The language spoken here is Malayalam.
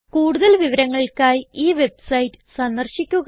കൂടുതൽ വിവരങ്ങൾക്കായി ഈ വെബ്സൈറ്റ് സന്ദർശിക്കുക